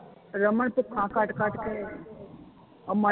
ਰਮਨ ਤੇ ਕਟ ਕਟ ਕੇ ਆ ਮਾਈ